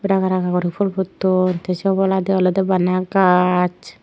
ranga ranga guri phool putton te se obolandi olode bana gach.